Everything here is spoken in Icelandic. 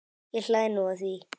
Ég hlæ nú að því.